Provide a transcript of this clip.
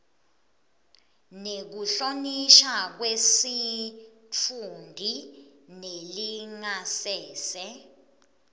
nekuhlonishwa kwesitfunti nelingasese